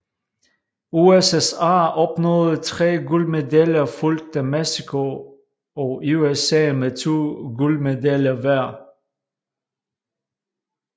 USSR opnåede tre guldmedaljer fulgt af Mexico og USA med to guldmedaljer hver